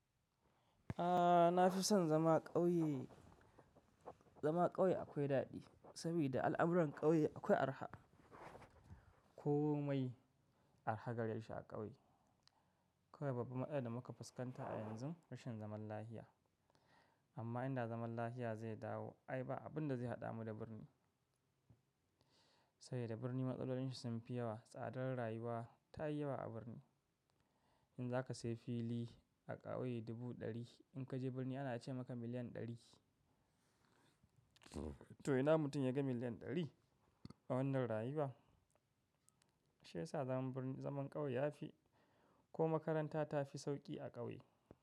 A'a, na fi son zama ƙauye. Zama ƙauye akwai daɗi saboda al'amuran ƙauye akwai arha, komai arha gare shi a ƙauye. Kawai babban matsalar da muka fuskanta a yanzu rashin zaman lafiya. Amma inda zaman lafiya zai dawo ai ba abun da zai haɗa mu da birni. Saboda birni matsalolinsa sun fi yawa, tsadar rayuwa ta yi yawa a birni. In za ka sayi fili a ƙauye dubu ɗari, in ka je birni ana iya ce maka miliyan ɗari. To ina mutum ya ga miliyan ɗari a wannan rayuwa? Shi yasa zaman ƙauye yafi ko makaranta ta fi sauƙi a ƙauye.